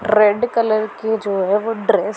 red colour की जो है वो ड्रेस --